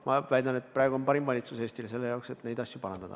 Ma väidan, et praegu on parim valitsus Eestile selle jaoks, et neid asju parandada.